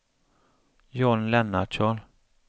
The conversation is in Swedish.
John Lennartsson